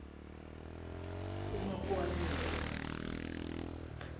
umakghwanyela